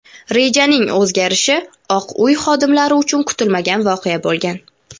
Rejaning o‘zgarishi Oq uy xodimlari uchun kutilmagan voqea bo‘lgan.